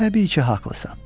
Təbii ki, haqlısan.